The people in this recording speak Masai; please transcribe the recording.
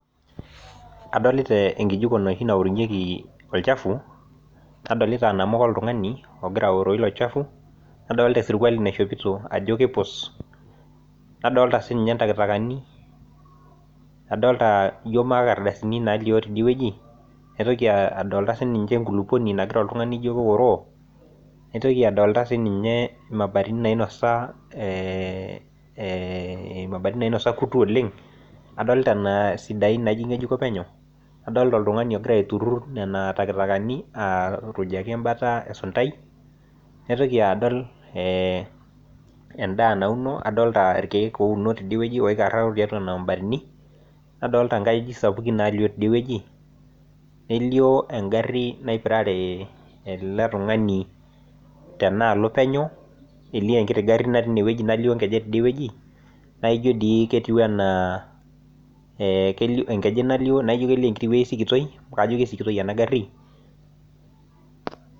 adolita enkijiko enoshi naowuorunyieki ol chafu nadolita inamuka ilo tung'ani logira araa ilo chafu nadolta esirikuali naishopito ajo kipus , nadolta sii ninye intakatakani nadolta ajo ijo mankardasini tidie weji nadolta sii niche inkulukuok naturur oltung'ani ijokeoroo, naitoki adolta imabatini nainosa kutu oleng' adolta isidain naijio king'ejuko penyo, adolta oltung'ani ogira aiturur nena takataka egira arujaki atua esuntai, naitoki adol edaa nauno naikararo tiatua nena mabatini nadolta inkajijik sapukin teineweji, nelio egari naipirare ele tung'ani olio engeju penyo naa ijo dii ketiu enaa enkeju nalio , nelio eweji sikitoi amu kajo kisikitoi ena gari.